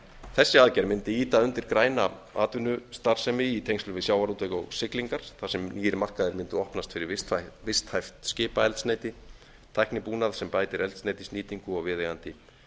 þessi aðgerð mundi ýta undir græna atvinnustarfsemi í tengslum við sjávarútveg og siglingar þar sem nýir markaðir mundu opnast fyrir visthæft skipaeldsneyti tæknibúnað sem bætir eldsneytisnýtingu og viðeigandi